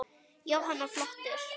Jóhanna: Flottur?